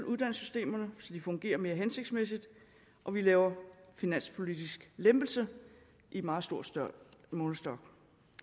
uddannelsessystem så det fungerer mere hensigtsmæssigt og vi laver en finanspolitisk lempelse i meget stor stor målestok